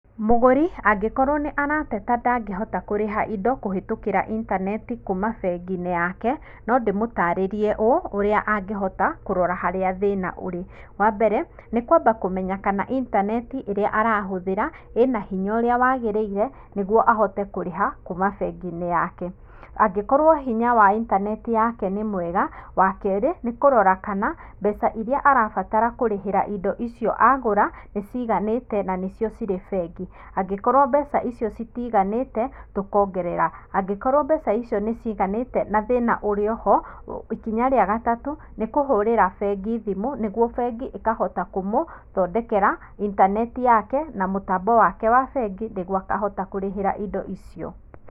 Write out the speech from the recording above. Mũgũri angĩkorwo nĩ arateta ndangĩhota kũrĩha indo kũhĩtũkĩra intaneti kuma bengi-inĩ yake, no ndimũtarĩrie ũũ ũrĩa angĩhota kũrora kũrĩa thĩna ũrĩ. Wambere, nĩ kwamba kũmenya kana intaneti ĩrĩa arahũthĩra ĩna hinya ũrĩa wagĩrĩire nĩguo ahote kũrĩha kuma bengi-inĩ yake. Angĩkworwo hinya wa intaneti yake nĩ mwega, wakerĩ, nĩ kũrora kana mbeca iria arabatara kũrĩhĩra indo icio agũra nĩ ciiganĩte na nĩcio cirĩ bengi. Angĩkorwo mbeca icio citiiganĩte tũkongerera, angĩkorwo mbeca icio nĩ ciiganĩte na thĩna ũrĩ oho ikinya rĩa gatatũ, nĩ kũhũrĩra bengi thimũ, nĩguo bengi ĩkahota kũmũthondekera intaneti yake, na mũtambo wake wa bengi nĩguo akahota kũrĩhĩra indo icio.